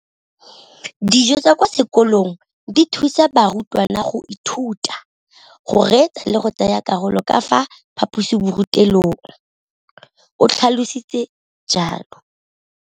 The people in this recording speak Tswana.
Dijo tsa kwa sekolong dithusa barutwana go ithuta, go reetsa le go tsaya karolo ka fa phaposiborutelong, o tlhalositse jalo.